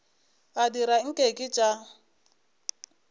a dira nke ke tša